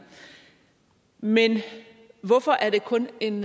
men hvorfor er det kun en